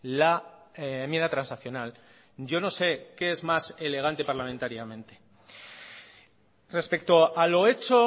la enmienda transaccional yo no se que es más elegante parlamentariamente respecto a lo hecho